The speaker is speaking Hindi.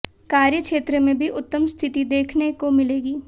कार्य क्षेत्र में भी उत्तम स्थिति देखने को मिलेगी